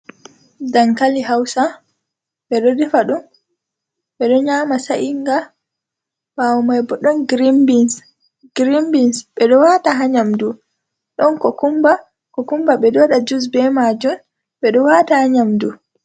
Dankali hausa be do defa dum be do nyama sa’inga bawo mai bo don rbns grienbins bedo wata hanyamdu don ko kumba ko kumba be doda ju be majun bedo wata hanyamdu.